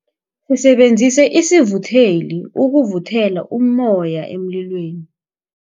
Sisebenzise isivutheli ukuvuthela ummoya emlilweni.